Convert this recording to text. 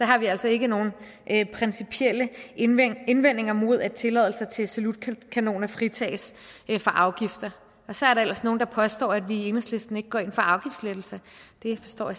har vi altså ikke nogen principielle indvendinger indvendinger mod at tilladelser til salutkanoner fritages fra afgifter så er der ellers nogle der påstår at vi i enhedslisten ikke går ind for afgiftslettelser det forstår